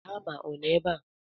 Hama ọ nọ ebe a?